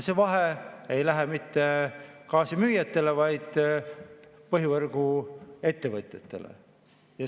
See vahe ei lähe mitte gaasimüüjatele, vaid põhivõrguettevõtjatele.